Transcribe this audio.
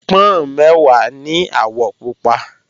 Pọ́n mẹ́wàá ní àwọ̀ pupa